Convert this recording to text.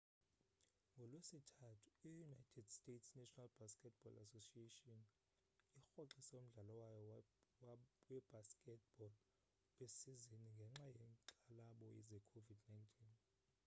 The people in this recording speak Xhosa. ngolwesithathu i-united states' national basketball association nba irhoxise umdlalo wayo webasket ball wesizini ngenxa yenkxalabo ze covid-19